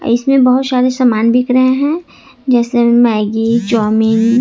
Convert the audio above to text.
इसमें बहुत सारे सामान दिख रहे हैं जैसे मैगी चाऊमीन ।